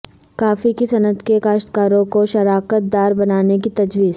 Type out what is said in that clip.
کافی کی صنعت کے کاشتکاروں کو شراکت دار بنانے کی تجویز